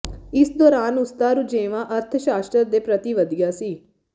ਇਸ ਦੌਰਾਨ ਉਸਦਾ ਰੁਝੇਵਾਂ ਅਰਥ ਸ਼ਾਸਤਰ ਦੇ ਪ੍ਰਤੀ ਵਧਿਆ ਸੀ